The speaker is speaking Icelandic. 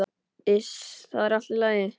Iss, það er allt í lagi.